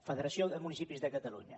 federació de municipis de catalunya